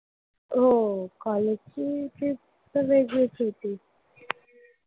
हो. college ची trip तर वेगळीच होती.